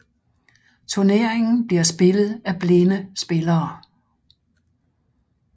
Turneringen bliver spillet af blinde spillere